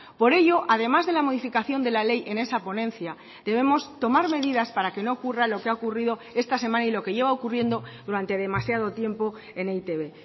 por ello además de la modificación de la ley en esa ponencia debemos tomar medidas para que no ocurra lo que ha ocurrido esta semana y lo que lleva ocurriendo durante demasiado tiempo en e i te be